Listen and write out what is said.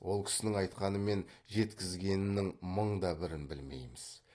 ол кісінің айтқаны мен жеткізгенінің мың да бірін білмейміз